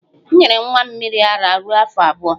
M nyere nwa m mmiri ara ruo afọ abụọ